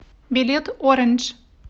билет оранж